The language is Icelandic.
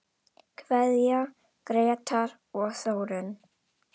Kveðja, Grétar og Þórunn.